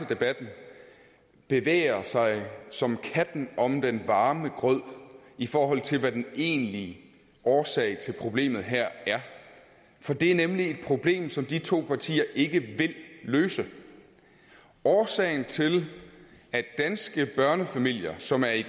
debatten bevæger sig som katten om den varme grød i forhold til hvad den egentlige årsag til problemet her er for det er nemlig et problem som de to partier ikke vil løse årsagen til at danske børnefamilier som er i